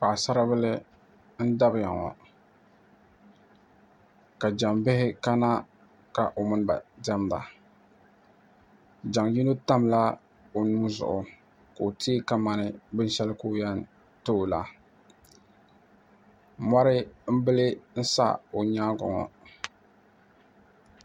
Paɣisaribila n-dabiya ŋɔ ka jaŋ' bihi kana ka o mini ba diɛmda jaŋ' yino tamla o nuu zuɣu ka o teei kamani binshɛli ka o yɛn ti o la mɔri m-bili n-sa o nyaaŋga ŋɔ